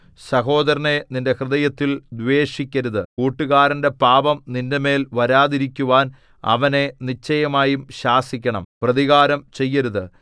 സഹോദരനെ നിന്റെ ഹൃദയത്തിൽ ദ്വേഷിക്കരുത് കൂട്ടുകാരന്റെ പാപം നിന്റെമേൽ വരാതിരിക്കുവാൻ അവനെ നിശ്ചയമായി ശാസിക്കണം പ്രതികാരം ചെയ്യരുത്